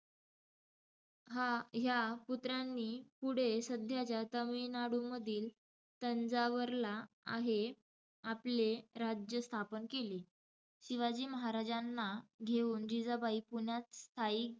हा~ ह्या पुत्रांनी पुढे सध्याच्या तमिळनाडूमधील तंजावरला आहे आपले राज्य स्थापन केले. शिवाजी महाराजांना घेऊन जिजाबाई पुण्यात स्थायिक,